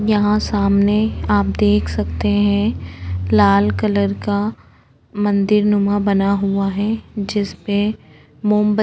यहाँ सामने आप देख सकते है लाल कलर का मंदिर नुमा बना हुआ है जिसमें मोमबत्त --